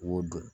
Wo don